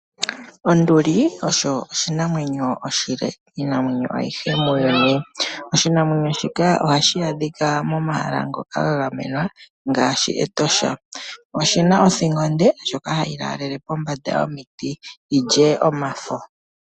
Onduli oyo oshinamwenyo oshile miinamwenyo ayihe muuyuni. Oshinamwenyo shika ohashi adhika momahala ngoka ga gamenwa ngaashi Etosha. Oshina othingo onde ndjoka hayi lalele pombanda yomiti yilye omafo.